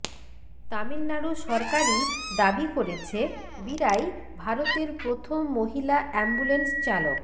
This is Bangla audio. তামিলনাড়ু সরকারই দাবি করেছে বীরাই ভারতের প্রথম মহিলা অ্যাম্বুলেন্স চালক